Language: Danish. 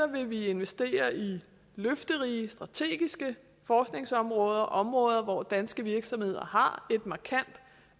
vil vi investere i løfterige strategiske forskningsområder områder hvor danske virksomheder har et markant